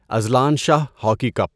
Azlan Shah hockey cup